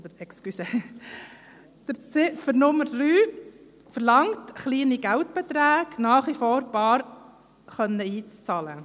Die Ziffer 3 verlangt, dass kleine Geldbeträge nach wie vor bar einbezahlt werden können.